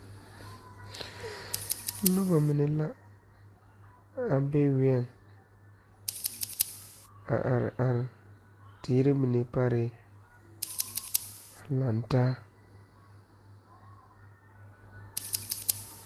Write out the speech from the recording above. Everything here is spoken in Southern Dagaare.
Noba mine la a be wiɛ, a are are teere mine parɛ a laŋ taa.